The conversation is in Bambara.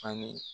Ani